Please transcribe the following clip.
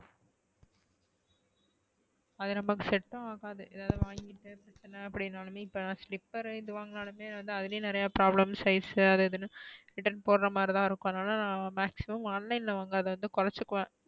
அது நமக்கு set ம் ஆகாது. எதாவது வாங்கி அப்டினலுமே இப்ப slipper இது வாங்கினலுமே வந்து அதுலையுமே நிறைய problem size அது இதுனு return போட்ற மாத்ரி தான் இருக்கும் அதுனால maximum online ல வாங்கறத கூறச்சுக்குவேன்.